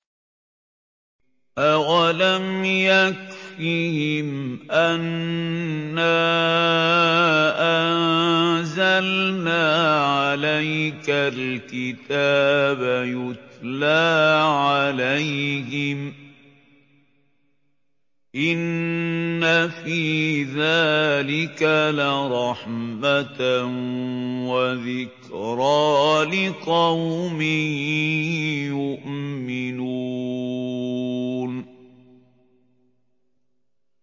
أَوَلَمْ يَكْفِهِمْ أَنَّا أَنزَلْنَا عَلَيْكَ الْكِتَابَ يُتْلَىٰ عَلَيْهِمْ ۚ إِنَّ فِي ذَٰلِكَ لَرَحْمَةً وَذِكْرَىٰ لِقَوْمٍ يُؤْمِنُونَ